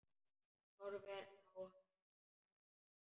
Hún horfir á hann hlessa.